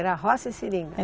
Era roça e seringa?